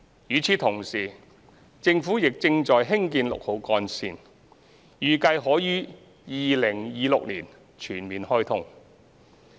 與此同時，政府亦正在興建六號幹線，預計可於2026年全面開通。